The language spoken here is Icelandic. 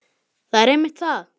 Það er einmitt það.